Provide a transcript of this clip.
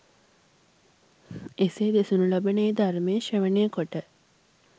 එසේ දෙසනු ලබන ඒ ධර්මය ශ්‍රවණය කොට